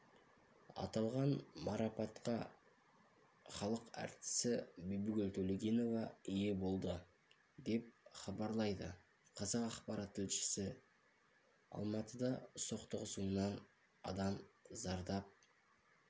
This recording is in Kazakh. аталған марапатқа халық әртісі бибігүл төлегенова ие болды деп іабарлайды қазақпарат тілшісі алматыда соқтығысуынан адам зардап